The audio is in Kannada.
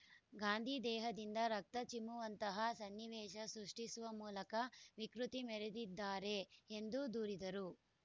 ಗಾಂಧಿ ದೇಹದಿಂದ ರಕ್ತ ಚಿಮ್ಮುವಂತಹ ಸನ್ನಿವೇಶ ಸೃಷ್ಟಿಸುವ ಮೂಲಕ ವಿಕೃತಿ ಮೆರೆದಿದ್ದಾರೆ ಎಂದು ದೂರಿದರು